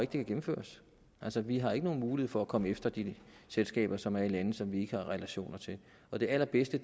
kan gennemføres altså vi har ikke nogen mulighed for at komme efter de selskaber som er i lande som vi ikke har relationer til og det allerbedste